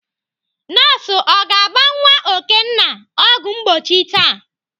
Nọọsụ ọ ga-agba nwa Okenna ọgwụ mgbochi taa?